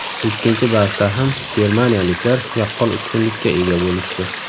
Ikkinchi bahsda ham germaniyaliklar yaqqol ustunlikka ega bo‘lishdi.